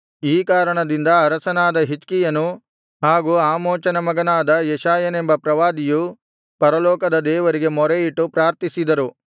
ಈ ಕಾರಣದಿಂದ ಅರಸನಾದ ಹಿಜ್ಕೀಯನು ಹಾಗು ಆಮೋಚನ ಮಗನಾದ ಯೆಶಾಯನೆಂಬ ಪ್ರವಾದಿಯು ಪರಲೋಕದ ದೇವರಿಗೆ ಮೊರೆಯಿಟ್ಟು ಪ್ರಾರ್ಥಿಸಿದರು